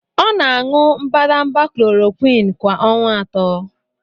Ọ na-aṅụ mbadamba Klorokwin kwa ọnwa atọ.